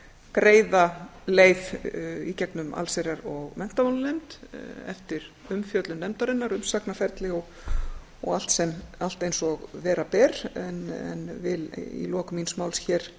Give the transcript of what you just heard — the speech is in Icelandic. greiða leið í gegnum allsherjar og menntamálanefnd eftir umfjöllun nefndarinnar umsagnaferli og allt eins og vera ber en vil í lok míns máls hér